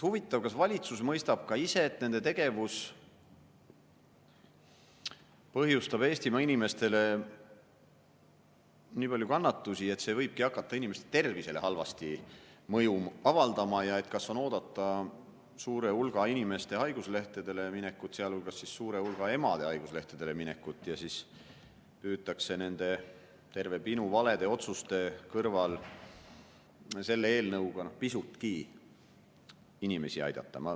Huvitav, kas valitsus mõistab ka ise, et nende tegevus põhjustab Eestimaa inimestele nii palju kannatusi, et see võibki hakata inimeste tervisele halvasti mõju avaldama, ja kas on oodata suure hulga inimeste haiguslehele minekut, sealhulgas suure hulga emade haiguslehele minekut, ning siis püütakse selle eelnõuga nende valede otsuste kõrval, mida on terve pinu, pisutki inimesi aidata.